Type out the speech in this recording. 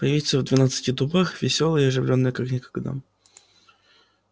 появиться в двенадцати дубах весёлой и оживлённой как никогда